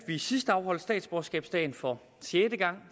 vi sidst afholdt statsborgerskabsdagen for sjette gang